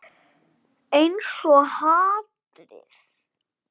Einsog hatrið.